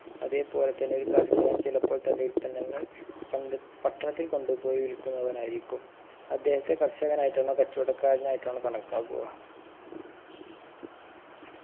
അതേപോലെ തന്നെ ഒരു കർഷകൻ ചിലപ്പോൾ തൻറെ ഉൽപന്നങ്ങൾ പണ്ട് പട്ടണത്തിൽ കൊണ്ടുപോയി വിൽക്കുന്നവനായിരിക്കും അദ്ദേഹത്തെ കർഷകനായിട്ടാണോ കച്ചോടക്കാരനായിട്ടാണോ കണക്കാക്കുക